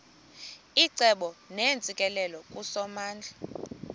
icebo neentsikelelo kusomandla